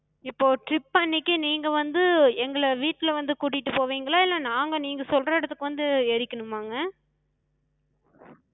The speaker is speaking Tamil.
இப்போ trip அன்னைக்கி நீங்க வந்து எங்கள வீட்ல வந்து கூட்டிட்டு போவிங்களா? இல்ல நாங்க நீங்க சொல்ற இடத்துக்கு வந்து ஏறிக்கனுமாங்க?